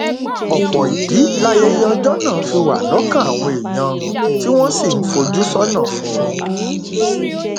ọpọ ìdí layẹyẹ ọjọ náà fi wà lọkàn àwọn èèyàn tí wọn sì ń fojú sọnà fún un